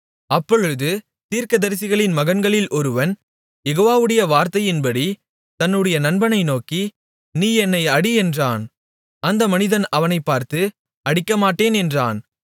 அப்பொழுது தீர்க்கதரிசிகளின் மகன்களில் ஒருவன் யெகோவாவுடைய வார்த்தையின்படி தன்னுடைய நண்பனை நோக்கி நீ என்னை அடி என்றான் அந்த மனிதன் அவனைப் பார்த்து அடிக்கமாட்டேன் என்றான்